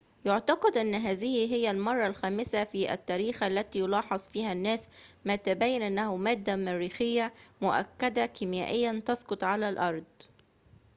يُعتقد أن هذه هي المرة الخامسة في التاريخ التي يلاحظ فيها الناس ما تبين أنه مادة مريخية مؤكدة كيميائيًا تسقط على الأرض